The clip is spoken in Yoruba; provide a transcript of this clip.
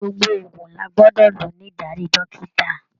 Gbogbo òògùn lá gbọdọ lò ní ìdarí dókítà.